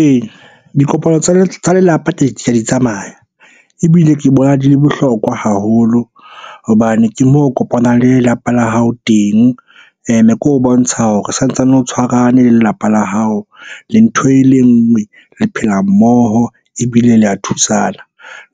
Ee, dikopano tsa lelapa ka di tsamaya ebile ke bona di le bohlokwa haholo. Hobane ke moo o kopanang le lelapa la hao teng, ene ke ho bontsha hore sa ntsane o tshwarane le lelapa la hao. Lee ntho e le nngwe, le phela mmoho, ebile le ya thusana.